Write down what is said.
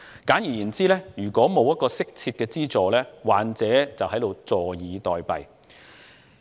簡言之，若然沒有適切的資助，患者便會坐以待斃。